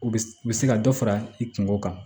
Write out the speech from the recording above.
U bɛ u bɛ se ka dɔ fara i kungo kan